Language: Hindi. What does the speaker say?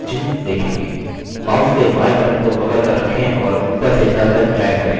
mouse के बायें button को पकड़कर रखें और ऊपर से तल तक drag करें